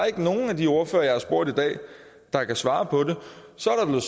ikke nogen af de ordførere jeg har spurgt i dag der kan svare på det så er